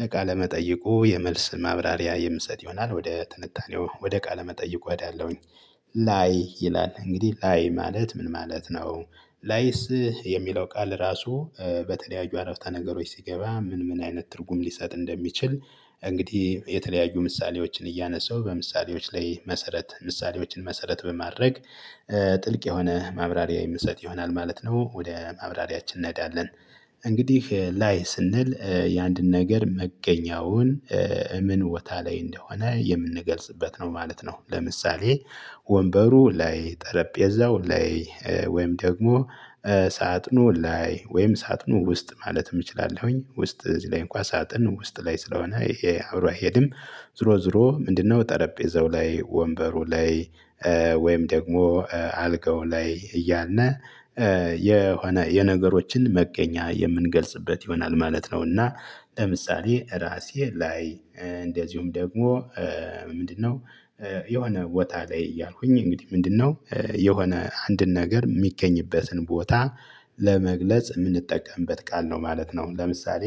ለቃለመጠይቁ የመልስ ማብራሪያ የምሰጥ ይሆናል ወደ ትንታኔው ወደ ቃለ መጠይቁ እሄዳለሁኝ። ላይ ይላል እንግዲህ ላይ ማለት ምን ማለት ነው? ላይስ የሚለው ቃል ራሱ። በተለያዩ አረፍተ ነገሮች ሲገባ ምን ምን አይነት ትርጉም ሊሰጥ እንደሚችል እንግዲህ የተለያዩ ምሳሌዎችን እያነሳሁ በምሳሌዎች ላይ መሰረት ምሳሌዎችን መሰረት በማድረግ። ጥልቅ የሆነ ማብራሪያ የምሰጥ ይሆናል ማለት ነው ወደ ማብራሪያችን እንሄዳለን። እንግዲህ ላይ ስንል የአንድን ነገር መገኛውን ምን ቦታ ላይ እንደሆነ የምንገልጽበት ነው ማለት ነው። ለምሳሌ ወንበሩ ላይ ጠረጴዛው ላይ። ወይም ደግሞ ሳጥኑ ላይ ወይም ሳጥኑ ውስጥ ማለት እችላለሁኝ። ውስጥ እዚህ ላይ እንኳን ሳጥን ውስጥ ላይ ስለሆነ አብሮ አይሄድም። ዝሮ ዝሮ ምንድነው ጠረጴዛው ላይ ወንበሩ ላይ። ወይም ደግሞ አልጋው ላይ እያልን የሆነ የነገሮችን መገኛ የምንገልጽበት ይሆናል ማለት ነውና። ለምሳሌ ራሴ ላይ። እንደዚሁም ደግሞ ምንድነው? የሆነ ቦታ ላይ እያልኩኝ እንግዲህ ምንድነው? የሆነ አንድን ነገር የሚገኝበትን ቦታ ለመግለጽ የምንጠቀምበት ቃል ነው ማለት ነው። ለምሳሌ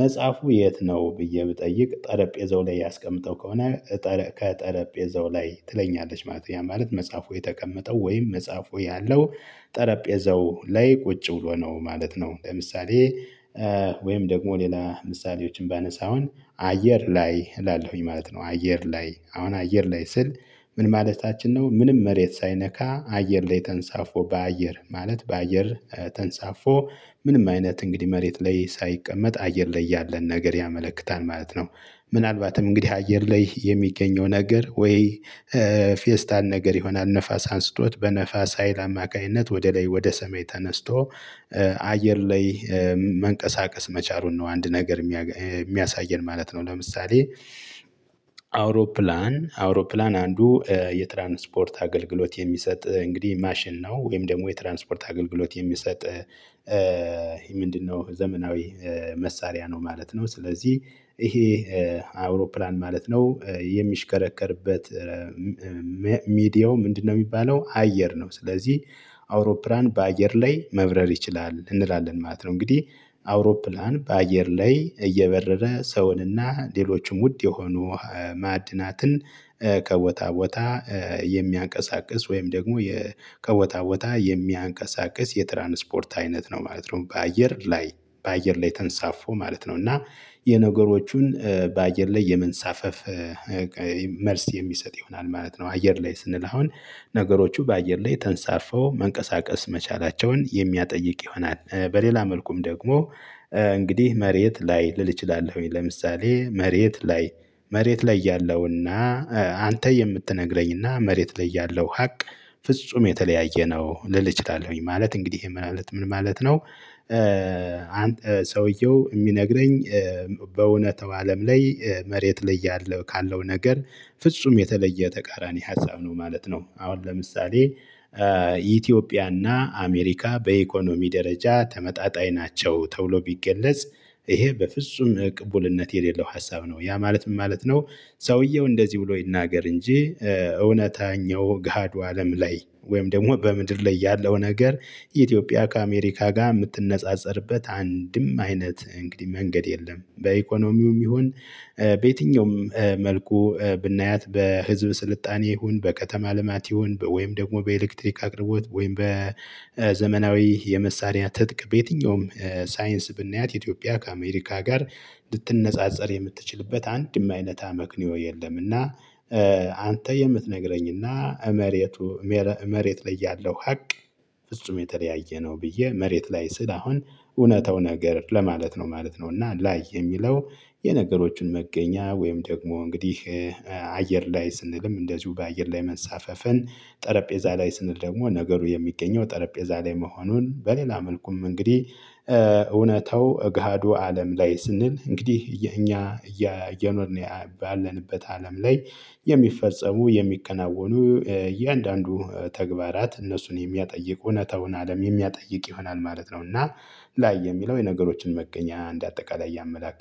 መጽሐፉ የት ነው ብዬ ብጠይቅ ጠረጴዛው ላይ አስቀምጠው ከሆነ። ከጠረጴዛው ላይ ትለኛለች ማለት ያ ማለት መጽሐፉ የተቀመጠው ወይም መጽሐፉ ያለው ጠረጴዛው ላይ ቁጭ ብሎ ነው ማለት ነው። ለምሳሌ ወይም ደግሞ ሌላ ምሳሌዎችን ባነሳ አሁን አየር ላይ እላለሁኝ ማለት ነው። አየር ላይ አሁን አየር ላይ ስል ምን ማለታችን ነው? ምንም መሬት ሳይነካ አየር ላይ ተንሳፎ በአየር ማለት በአየር ተንሳፎ ምንም አይነት እንግዲህ መሬት ላይ ሳይቀመጥ አየር ላይ ያለን ነገር ያመለክታል ማለት ነው። ምናልባትም እንግዲህ አየር ላይ የሚገኘው ነገር ወይ ፌስታል ነገር ይሆናል ንፋስ አንስቶት በንፋስ ሀይል አማካኝነት ወደ ላይ ወደ ሰማይ ተነስቶ። አየር ላይ መንቀሳቀስ መቻሉን ነው አንድ ነገር የሚያሳየን ማለት ነው። ለምሳሌ አውሮፕላን አውሮፕላን አንዱ የትራንስፖርት አገልግሎት የሚሰጥ እንግዲህ ማሽን ነው። ወይም ደግሞ የትራንስፖርት አገልግሎት የሚሰጥ ምንድነው ዘመናዊ መሳሪያ ነው ማለት ነው። ስለዚህ ይሄ አውሮፕላን ማለት ነው። የሚሽከረከርበት ሚዲያው ምንድነው የሚባለው አየር ነው። ስለዚህ አውሮፕላን በአየር ላይ መብረር ይችላል እንላለን ማለት ነው። እንግዲህ አውሮፕላን በአየር ላይ እየበረረ ሰውን እና ሌሎችም ውድ የሆኑ ማዕድናትን ከቦታ ቦታ የሚያንቀሳቅስ ወይም ደግሞ ከቦታ ቦታ የሚያንቀሳቅስ የትራንስፖርት አይነት ነው ማለት ነው። በአየር ላይ በአየር ላይ ተንሳፎ ማለት ነው እና የነገሮቹን በአየር ላይ የመንሳፈፍ መልስ የሚሰጥ ይሆናል ማለት ነው። አየር ላይ ስንል አሁን ነገሮቹ በአየር ላይ ተንሳፈው መንቀሳቀስ መቻላቸውን የሚያጠይቅ ይሆናል። በሌላ መልኩም ደግሞ እንግዲህ መሬት ላይ ልል እችላለሁኝ ለምሳሌ መሬት ላይ መሬት ላይ ያለውና አንተ የምትነግረኝና መሬት ላይ ያለሁ ሀቅ ፍጹም የተለያየ ነው። ልል እችላለሁኝ ማለት እንግዲህ ይሄ ምን ማለት ምን ማለት ነው? ሰውየው የሚነግረኝ በእውነተው አለም ላይ መሬት ላይ ያለው ካለው ነገር ፍጹም የተለየ ተቃራኒ ሀሳብ ነው ማለት ነው። አሁን ለምሳሌ ኢትዮጵያና አሜሪካ በኢኮኖሚ ደረጃ ተመጣጣኝ ናቸው ተብሎ ቢገለጽ። ይሄ በፍጹም ቅቡልነት የሌለው ሀሳብ ነው ያ ማለት ምን ማለት ነው? ሰውየው እንደዚህ ብሎ ይናገር እንጂ እውነተኛው ገሃዱ አለም ላይ ወይም ደግሞ በምድር ላይ ያለው ነገር ኢትዮጵያ ከአሜሪካ ጋር የምትነጻጸርበት አንድም አይነት እንግዲህ መንገድ የለም። በኢኮኖሚውም ይሁን በየትኛውም መልኩ ብናያት በህዝብ ስልጣኔ ይሁን በከተማ ልማት ይሁን ወይም ደግሞ በኤሌክትሪክ አቅርቦት ወይም በዘመናዊ የመሳሪያ ትጥቅ በየትኛውም ሳይንስ ብናያት ኢትዮጵያ ከአሜሪካ ጋር ልትነጻጸር የምትችልበት አንድም አይነት አመክንዮ የለምና። አንተ የምትነግረኝና መሬቱ መሬት ላይ ያለው ሀቅ ፍጹም የተለያየ ነው። ብዬ መሬት ላይ ስል አሁን እውነታው ነገር ለማለት ነው ማለት ነው። እና ላይ የሚለው የነገሮችን መገኛ ወይም ደግሞ እንግዲህ አየር ላይ ስንልም እንደዚሁ በአየር ላይ መንሳፈፍን ጠረጴዛ ላይ ስንል ደግሞ ነገሩ የሚገኘው ጠረጴዛ ላይ መሆኑን በሌላ መልኩም እንግዲህ እውነታው ገሃዱ አለም ላይ ስንል እንግዲህ የኛ እየኖርን ባለንበት አለም ላይ የሚፈጸሙ የሚከናወኑ የእያንዳንዱ ተግባራት እነሱን የሚያጠይቅ እውነታውን አለም የሚያጠይቅ ይሆናል ማለት ነው። እና ላይ የሚለው የነገሮችን መገኛ እንደ አጠቃላይ ያመላክታል